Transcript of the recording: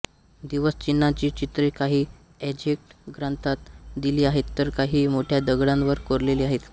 दिवस चिन्हांची चित्रे काही अझ्टेक ग्रंथात दिली आहेत तर काही मोठ्या दगडांवर कोरलेली आहेत